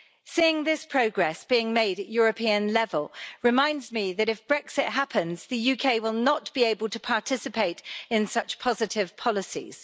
Seeing this progress being made at European level reminds me that that if Brexit happens, the UK will not be able to participate in such positive policies.